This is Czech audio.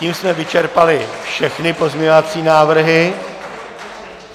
Tím jsme vyčerpali všechny pozměňovací návrhy.